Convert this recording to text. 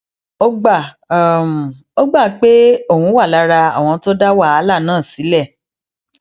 ó gbà ó gbà um pé òun wà lára àwọn tó dá wàhálà náà sílè